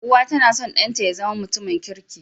Uwa tAna son dan ta yazama mutum kirki